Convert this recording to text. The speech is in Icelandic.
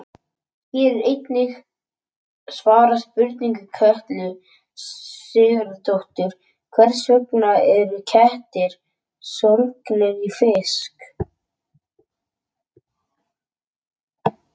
Hér er einnig svarað spurningu Kötlu Sigurðardóttur: Hvers vegna eru kettir sólgnir í fisk?